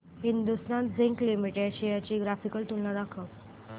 Hindustan zinc limited shares ची graphical तुलना दाखव